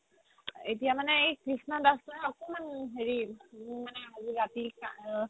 এতিয়া মানে এই কৃষ্ণ দাস একমান হেৰি মানে ৰাতি